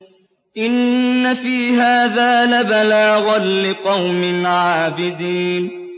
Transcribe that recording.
إِنَّ فِي هَٰذَا لَبَلَاغًا لِّقَوْمٍ عَابِدِينَ